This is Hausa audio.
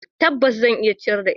Tabbas, zan iya ciyar da ita.